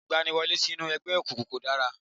Ìgbaniwọlé sínú ẹgbẹ́ òkùnkùn kọ̀ dára